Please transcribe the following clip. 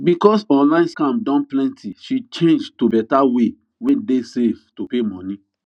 because online scam don plenty she change to better way wey dey safe to pay money